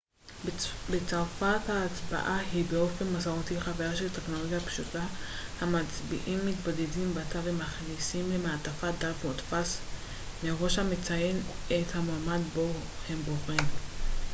בצרפת ההצבעה היא באופן מסורתי חוויה של טכנולוגיה פשוטה המצביעים מתבודדים בתא ומכניסים למעטפה דף מודפס מראש המציין את המועמד בו הם בוחרים